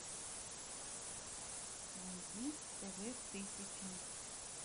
найди тв тысяча